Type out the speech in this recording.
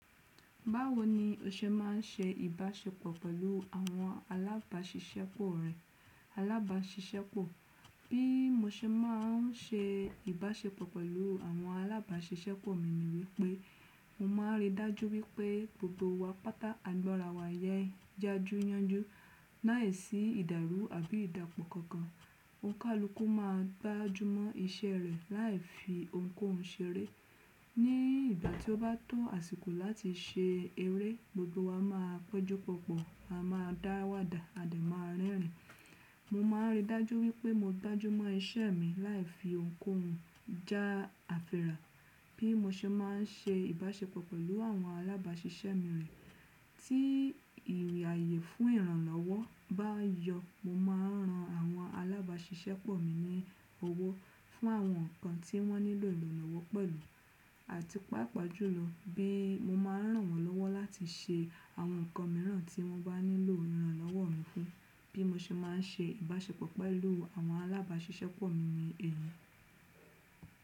Báwo ni o ṣe má n se ìbáṣepọ̀ pẹ̀lú àwọn alábáṣiṣẹ́pọ̀ rẹ? Alábáṣiṣẹ́pọ̀, bí mo ṣe má n se ìbáṣepọ̀ pẹ̀lú àwọn alábáṣiṣẹ́pọ̀ mi ni wípé mo má n rí dájú wípé gbogbo wa pátá àìgbọ́ra wa yẹ já ju yanjú láìsí ìdàrú àbí ìdàpọ̀ kankan. Òǹkàlúkú ma gbájú mọ́ iṣẹ́ rẹ láì fi òun kóhun ṣeré. Ni ìgbà tí ó bá tó àsìkò láti se eré, gbogbo wa máa péjú pọ̀pọ̀, a máa dá wádà a dẹ̀ máa rẹ́rìn. Mo má n rí dájú wípé mo dájú mọ́ iṣẹ́ mi láì fi òun kóhun já àfirà. Bí mo ṣe má n se ìbáṣepọ̀ pẹ̀lú àwọn alábáṣiṣẹ́pọ̀ mi rẹ̀ tí ìrìyè fún ìrànlọ́wọ́ bá yọ, mo má a n ran àwọn alábáṣiṣẹ́pọ̀ mi ní owó fún àwọn nǹkan tí wọ́n nílò ìranlànàwọ́ pẹ̀lú àti pàápàá jùlọ bí mo má a n ràn wọ́n lọ́wọ́ láti ṣe àwọn nǹkan mìíràn tí wọ́n bá nílò ìrànlọ́wọ́ mi fún. Bí mo ṣe má n se ìbáṣepọ̀ pẹ̀lú àwọn alábáṣiṣẹ́pọ̀ mi ni èyí.